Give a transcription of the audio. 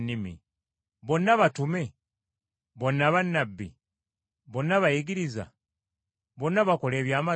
Bonna batume? Bonna bannabbi? Bonna bayigiriza? Bonna bakola ebyamagero?